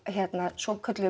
svokölluðum